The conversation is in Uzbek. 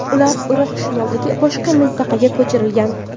Ular Iroq shimolidagi boshqa mintaqaga ko‘chirilgan.